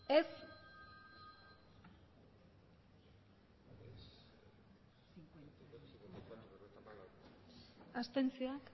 aurkako botoak abstentzioak